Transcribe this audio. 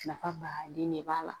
Nafa baden de b'a la